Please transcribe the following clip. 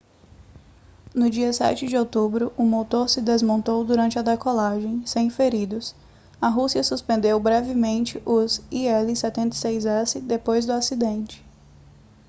no dia 7 de outubro um motor se desmontou durante a decolagem sem feridos a rússia suspendeu brevemente os il-76s depois do acidente